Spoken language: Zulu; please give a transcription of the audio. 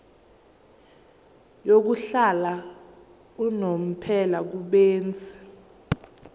yokuhlala unomphela kubenzi